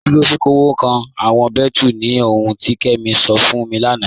Dúró fífọ̀wọ́kàn awọn bẹẹtù ni ohùn ti Kemi sọ̀ fún mi lánà.